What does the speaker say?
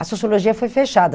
A sociologia foi fechada.